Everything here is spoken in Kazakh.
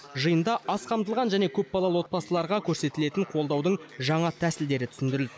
жиында аз қамтылған және көпбалалы отбасыларға көрсетілетін қолдаудың жаңа тәсілдері түсіндірілді